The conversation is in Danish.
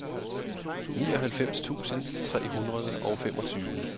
nioghalvfems tusind tre hundrede og femogtyve